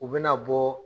U bɛna bɔ